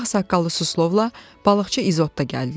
Bu vaxt saqqallı Suslovla balıqçı İzot da gəldilər.